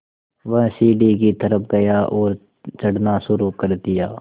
वह सीढ़ी की तरफ़ गया और चढ़ना शुरू कर दिया